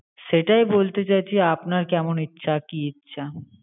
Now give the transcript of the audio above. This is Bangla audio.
সেটাই বলতে চাইছি, আপনার কেমন ইচ্ছা? কি ইচ্ছা?